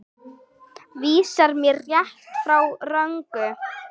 Vísar mér rétt, frá röngu.